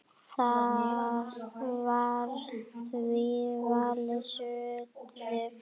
Var því valinn staður í